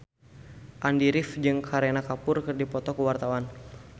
Andy rif jeung Kareena Kapoor keur dipoto ku wartawan